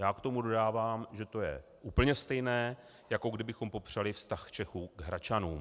Já k tomu dodávám, že to je úplně stejné, jako kdybychom popřeli vztah Čechů k Hradčanům.